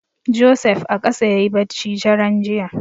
Joseph a ƙasa yayi bacci daren jiya.